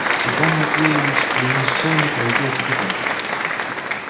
степан матвеевич принёс чайник разлил кипяток